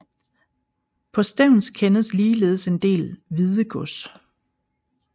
På Stevns kendes ligeledes en del Hvidegods